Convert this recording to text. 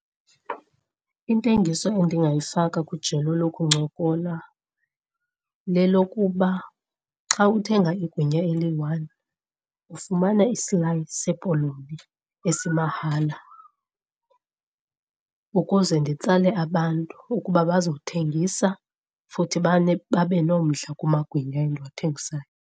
Intengiso endingayifaka kwijelo lokuncokola lelokuba xa uthenga igwinya eliyi-one ufumana isilayi sepoloni esimahala, ukuze nditsale abantu ukuba bazothengisa futhi babe nomdla kumagwinya endiwathengisayo.